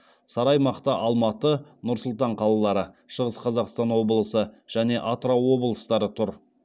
сары аймақта алматы нұр сұлтан қалалары шығыс қазақстан облысы және атырау облыстары тұр